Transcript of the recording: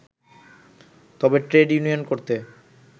তবে trade union করতে